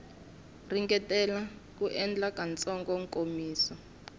ringetile ku endla nkatsakanyo nkomiso